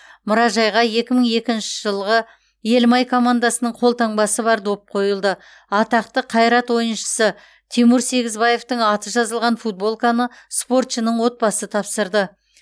мұражайға екі мың екінші жылғы елімай командасының қолтаңбасы бар доп қойылды атақты қайрат ойыншысы тимур сегізбаевтың аты жазылған футболканы спортшының отбасы тапсырды